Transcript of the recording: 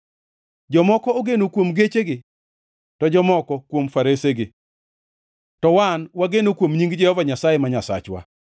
Jomoko ogeno kuom gechegi to jomoko kuom faresegi, to wan to wageno kuom nying Jehova Nyasaye, ma Nyasachwa.